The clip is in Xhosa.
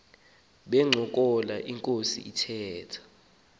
bencokola inkos ithetha